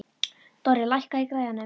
Dorri, lækkaðu í græjunum.